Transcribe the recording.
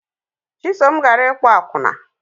Chisom gara ịkpo akwụna